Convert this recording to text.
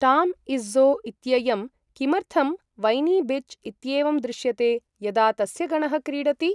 टाम् Izzo इत्ययं किमर्थं वैनी बिच् इत्येवं दृश्यते यदा तस्य गणः क्रीडति?